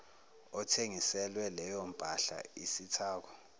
othengiselwe leyompahla isithako